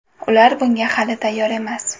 Ular bunga hali tayyor emas.